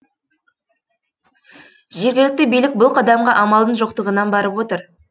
жергілікті билік бұл қадамға амалдың жоқтығынан барып отыр